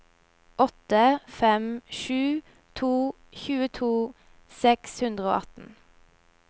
åtte fem sju to tjueto seks hundre og atten